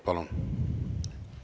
Palun!